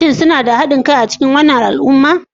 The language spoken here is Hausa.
Shin suna da haɗin kai a cikin wannan al'umma?